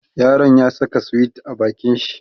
yaron ya Saka sweet a bakin shi